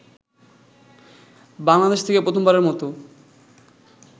বাংলাদেশ থেকে প্রথমবারের মতো